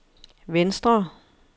venstre